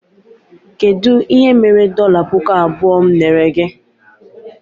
Kedụ ihe mere dọla pụkụ abụọ mụ nyere gị?